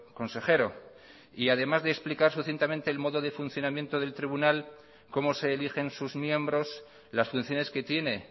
consejero además de explicar sucintamente el modo de funcionamiento del tribunal cómo se eligen sus miembros las funciones que tiene